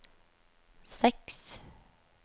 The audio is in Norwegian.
seks